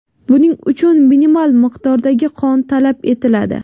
Buning uchun minimal miqdordagi qon talab etiladi.